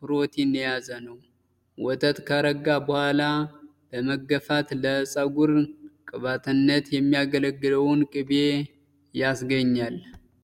ፕሮቲን የያዘ ነው። ወተት ከረጋ በኋላ በመገፋት ለፀጉር ቅባትነት የሚያገለግለውን ቅቢ ያስገኛል።